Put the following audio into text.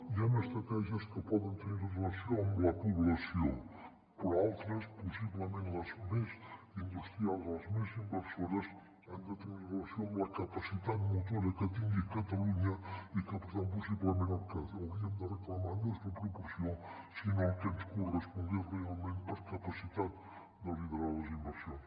hi han estratègies que poden tenir relació amb la població però altres pos·siblement les més industrials o les més inversores han de tenir relació amb la capa·citat motora que tingui catalunya i que per tant possiblement el que hauríem de reclamar no és la proporció sinó el que ens correspongués realment per capacitat de liderar les inversions